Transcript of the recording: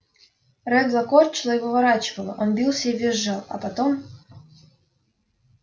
реддла корчило и выворачивало он бился и визжал а потом